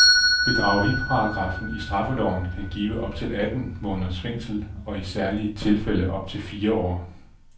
Bedrageriparagraffen i straffeloven kan give op til atten måneders fængsel, i særlige tilfælde op til fire år.